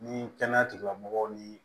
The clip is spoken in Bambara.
Ni kɛnɛya tigilamɔgɔw ni